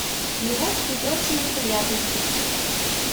любовь и прочие неприятности